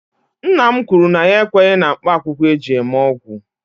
Nna m kwuru na ya ekweghi na mkpaakwụkwọ eji eme ọgwụ